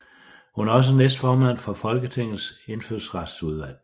Hun er også næstformand for Folketingets indfødsretsudvalg